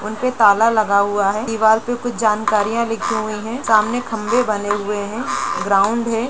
उन पे ताला लगा हुआ है दीवार पर कुछ जानकारियां लिखी हुई हैं सामने खंभे बने हुए हैं ग्राउंड है।